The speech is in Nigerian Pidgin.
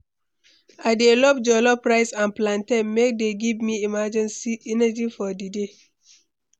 I dey love jollof rice and plantain, dem dey give me energy for di day.